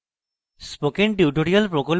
spoken tutorial প্রকল্প the